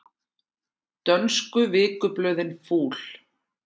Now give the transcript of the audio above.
Dönsku vikublöðin fúl